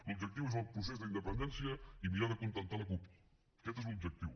l’objectiu és el procés d’independència i mirar d’acontentar la cup aquest és l’objectiu